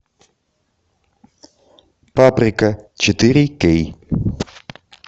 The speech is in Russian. паприка четыре кей